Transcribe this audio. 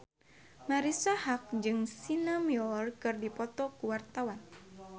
Marisa Haque jeung Sienna Miller keur dipoto ku wartawan